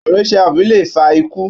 À̀rùn HIV lè fa ikú.